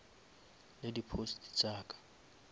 le di posts tša ka